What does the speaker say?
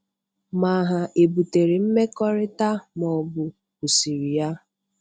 Ma ha ebutere mmekọrịta ma ọbụ kwụsịrị ya,...........